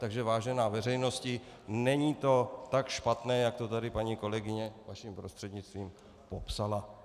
Takže vážená veřejnosti, není to tak špatné, jak to tady paní kolegyně, vaším prostřednictvím, popsala.